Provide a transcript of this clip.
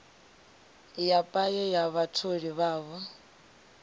ya paye ya vhatholi vhavho